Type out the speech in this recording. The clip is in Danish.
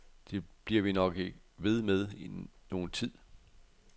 Det bliver vi nok ved med nogen tid.